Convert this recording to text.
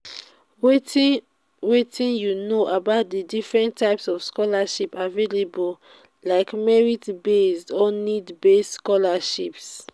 wetin wetin you know about di different types of scholarships available like merit-based or need-based scholarships?